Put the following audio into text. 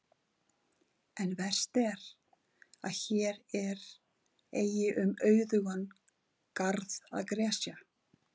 En verst er, að hér er eigi um auðugan garð að gresja.